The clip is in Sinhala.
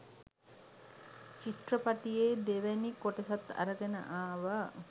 චිත්‍රපටියෙ දෙවනි කොටසත් අරගෙන ආවා.